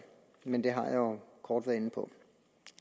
men det har jeg jo kort været inde på